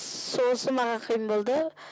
сосын маған қиын болды